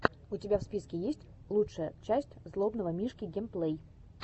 у тебя в списке есть лучшая часть злобного мишки геймплей